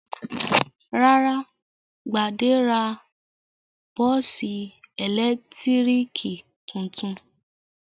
Rárá, Gbade ra bọ́ọ́sì ẹ̀lẹ́tíríkì tuntun.